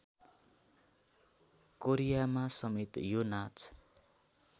कोरियामासमेत यो नाच